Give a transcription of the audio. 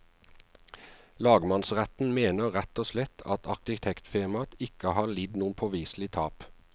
Lagmannsretten mener rett og slett at arkitektfirmaet ikke har lidd noe påviselig tap.